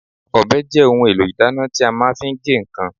Ọbẹ̀ jẹ́ ohun èlò ìdáná tí a fi máa ń ge nǹkan.